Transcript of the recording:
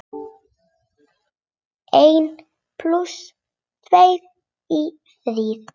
Einn plús tveir eru þrír.